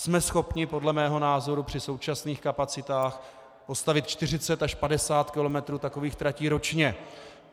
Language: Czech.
Jsme schopni podle mého názoru při současných kapacitách postavit 40 až 50 kilometrů takových tratí ročně.